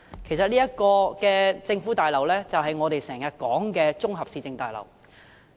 其實這座政府大樓便是我們經常提及的綜合市政大樓。